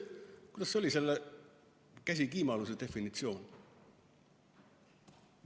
Kuidas see käsikiimluse definitsioon oligi?